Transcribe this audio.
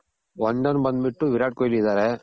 one done ಬಂದ್ ಬಿಟ್ಟು ವಿರಾಟ್ ಕೋಹ್ಲಿ ಇದಾರೆ